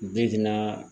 Bi dinɛ